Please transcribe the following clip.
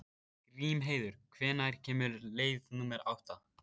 Grímheiður, hvenær kemur leið númer átta?